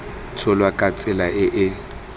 tsholwa ka tsela e e